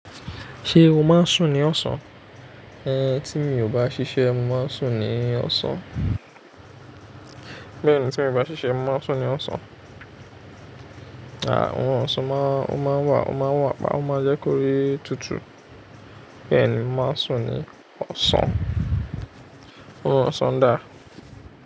Ṣé o máa ń sùn ní ọ̀sán? Ë, tí mi ò bá ṣiṣẹ́, mo máa ń sùn ní ọ̀sán. Bẹ́ẹ̀ ni, tí mi miò bá ṣiṣẹ́, mo máa ń sùn ní ọ̀sán. Àà, orun ọ̀sán máa ń wà, ó máa wà, pa ó máa jẹ́ kó rí tutù. Bẹ́ẹ̀ ni, mo máa ń sùn ní ọ̀sán. Orun ọ̀sán dà?